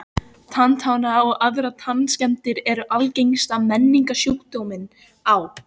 Tannáta og aðrar tannskemmdir eru algengasti menningarsjúkdómurinn á